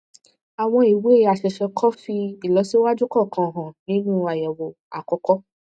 àwọn ìwé àṣẹṣe kò fi ìlọsíwájú kankan hàn nínú àyẹwò àkọkọ